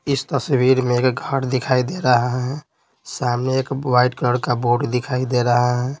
इस तस्वीर में एक घर दिखाई दे रहा है सामने एक वाइट कलर का बोर्ड दिखाई दे रहा है।